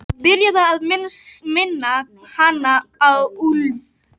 Byrjaður að minna hana á úlf.